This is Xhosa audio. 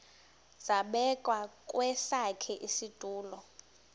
zabekwa kwesakhe isitulo